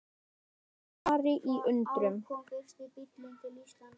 Ég stari í undrun.